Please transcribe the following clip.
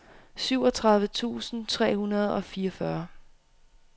syvogtredive tusind tre hundrede og fireogfyrre